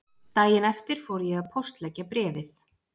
Daginn eftir fór ég að póstleggja bréfið